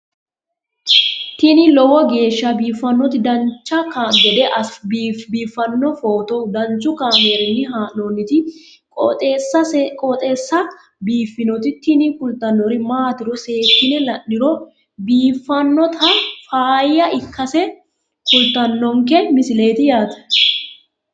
tini lowo geeshsha biiffannoti dancha gede biiffanno footo danchu kaameerinni haa'noonniti qooxeessa biiffannoti tini kultannori maatiro seekkine la'niro biiffannota faayya ikkase kultannoke misileeti yaate